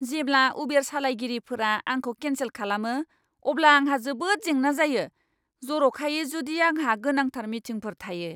जेब्ला उबेर सालायगिरिफोरा आंखौ केन्सेल खालामो, अब्ला आंहा जोबोद जेंना जायो, जर'खायै जुदि आंहा गोनांथार मिटिंफोर थायो!